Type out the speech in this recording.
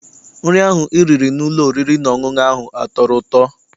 Nri ahụ I riri n'ụlọ oriri na ọṅụṅụ ahụ a tọrọ ụtọ?